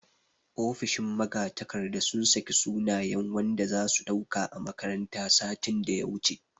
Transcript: Ofishin magatakarda sun sake sunayen wanda zasu ɗauka a makaranta satin daya wuce